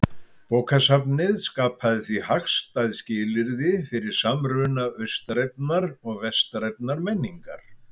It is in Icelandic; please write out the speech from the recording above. Bókasafnið skapaði því hagstæð skilyrði fyrir samruna austrænnar og vestrænnar menningar.